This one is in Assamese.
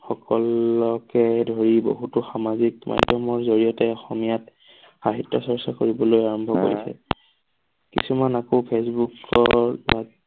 সকলকে ধৰি বহুতো সামাজিক মাধ্যমবোৰ জৰিয়তে অসমীয়াত সাহিত্য চৰ্চা কৰিবলৈ আৰম্ভ কৰিছে। কিছুমান আকৌ ফচবুকৰ